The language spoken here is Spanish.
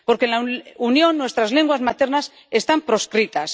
Porque en la Unión nuestras lenguas maternas están proscritas.